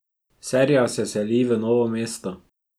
Serija se seli v Novo mesto.